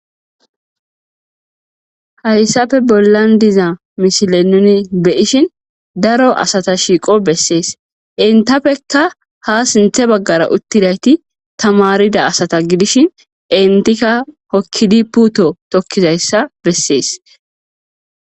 Hayisappe bollan diza misile nuni be, ishin daro asata shiqosi besees entapeka ha sintha bagara utidayiti tamarida asata gidishin entika hokidi pute tokizayisa besees